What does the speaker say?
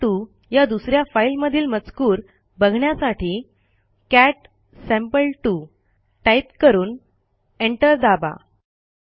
sample two या दुस या फाईलमधील मजकूर बघण्यासाठी कॅट सॅम्पल2 टाईप करून एंटर दाबा